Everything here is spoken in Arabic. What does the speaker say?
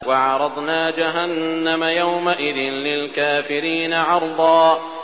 وَعَرَضْنَا جَهَنَّمَ يَوْمَئِذٍ لِّلْكَافِرِينَ عَرْضًا